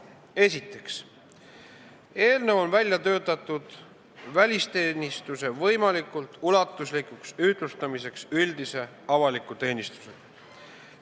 Esiteks, eelnõu on välja töötatud välisteenistuse võimalikult ulatuslikuks ühtlustamiseks üldise avaliku teenistusega.